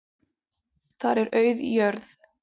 Þar er auð jörð.